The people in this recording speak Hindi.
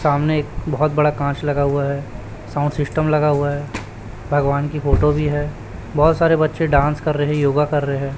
सामने एक बहोत बड़ा काच लगा हुआ है साउंड सिस्टम लगा हुआ है भगवान की फोटो भी है बहोत सारे बच्चे डांस कर रहे योगा कर रहे।